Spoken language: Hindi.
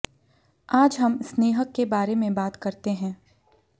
आज हम स्नेहक के बारे में बात करते हैं